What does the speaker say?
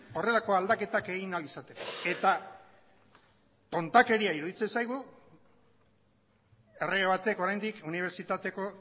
horrelako aldaketak egin ahal izateko eta tontakeria iruditzen zaigu errege batek oraindik unibertsitateko